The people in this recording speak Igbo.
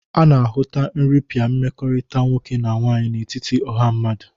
A na-ahụta nrịpịa mmekọrịta nwoke na nwaanyị n'etiti ọha mmadụ.